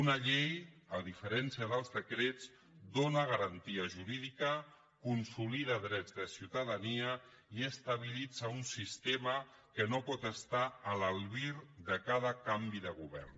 una llei a diferència dels decrets dóna garantia jurídica consolida drets de ciutadania i estabilitza un sistema que no pot estar a l’albir de cada canvi de govern